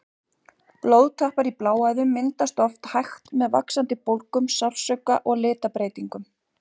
Blóðtappar í bláæðum myndast oft hægt með vaxandi bólgum, sársauka og litabreytingum.